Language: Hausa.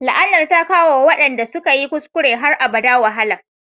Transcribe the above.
La'anar ta kawo wa waɗanda suka yi kuskure har abada wahala